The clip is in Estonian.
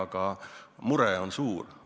Aga mure on suur.